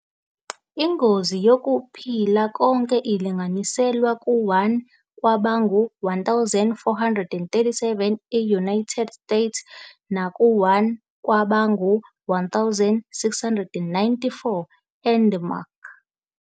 Ingozi yokuphila konke ilinganiselwa ku-1 kwabangu-1,437 e-United States naku-1 kwabangu-1,694 eDenmark.